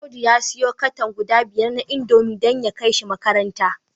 Audu ya siyo cartoon guda biyar na indomie dan ya kaishi makaranta